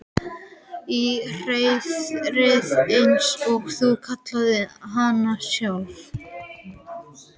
Í hreiðrið eins og þú kallaðir hana sjálf.